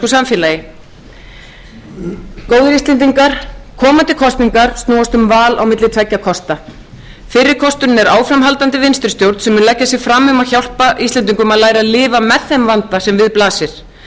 samfélagi góðir íslendingar komandi kosningar snúast um val á milli tveggja kosta fyrir kosturinn er áframhaldandi vinstri stjórn sem mun leggja sig fram um að hjálpa íslendingum að læra að lifa með þeim vanda sem við blasir